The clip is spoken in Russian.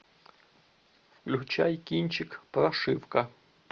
включай кинчик прошивка